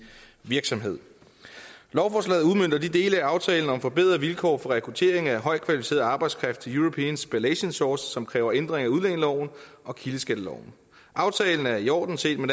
virksomhed lovforslaget udmønter de dele af aftalen om forbedrede vilkår for rekruttering af højt kvalificeret arbejdskraft til european spallation source som kræver ændring af udlændingeloven og kildeskatteloven aftalen er i orden set med